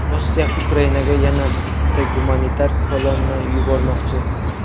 Rossiya Ukrainaga yana bitta gumanitar kolonna yubormoqchi.